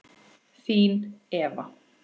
Þín Eva